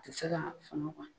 O tɛ se ka suma maɲi.